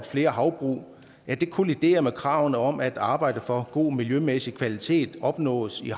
flere havbrug kolliderer med kravet om at arbejde for at god miljømæssig kvalitet opnås i